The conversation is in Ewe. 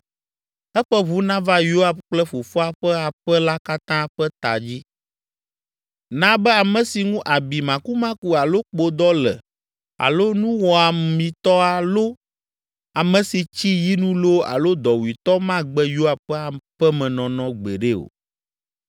Eƒe ʋu nava Yoab kple fofoa ƒe aƒe la katã ƒe ta dzi. Na be ame si ŋu abi makumaku alo kpodɔ le alo nuwɔamitɔ alo ame si tsi yinu loo alo dɔwuitɔ magbe Yoab ƒe aƒemenɔnɔ gbeɖe o.”